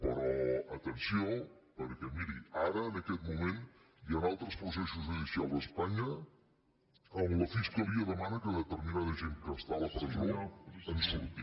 però atenció perquè miri ara en aquest moment hi ha altres processos judicials a espanya on la fiscalia demana que determinada gent que està a la presó en surti